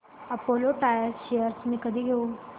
Apollo tyres shares मी कधी घेऊ